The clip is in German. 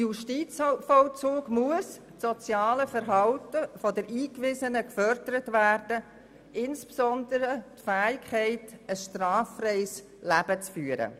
Das soziale Verhalten der Eingewiesenen muss im Justizvollzug gefördert werden, insbesondere die Fähigkeit, ein straffreies Leben zu führen.